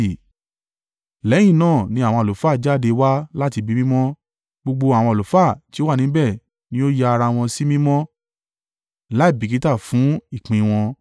Lẹ́yìn náà ni àwọn àlùfáà jáde wá láti Ibi Mímọ́. Gbogbo àwọn àlùfáà tí ó wà níbẹ̀ ni ó ya ara wọn sí mímọ́ láìbìkítà fún ìpín wọn.